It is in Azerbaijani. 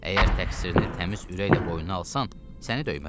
Əgər təqsirini təmiz ürəklə boynuna alsan, səni döymərəm.